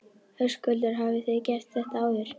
Höskuldur: Hafið þið gert þetta áður?